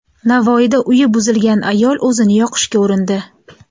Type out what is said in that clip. Navoiyda uyi buzilgan ayol o‘zini yoqishga urindi.